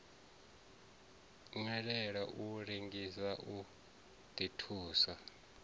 nwelela u lengisa u ḓithusa